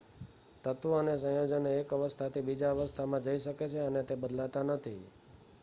તત્વો અને સંયોજનો એક અવસ્થાથી બીજા અવસ્થામાં જઈ શકે છે અને તે બદલાતા નથી